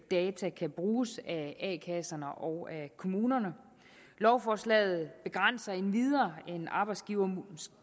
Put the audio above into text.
data kan bruges af a kasserne og af kommunerne lovforslaget begrænser endvidere en ny arbejdsgiver